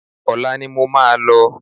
Olá ni mo máa lọ